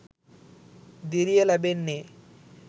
දිරිය ලැබෙන්නේ.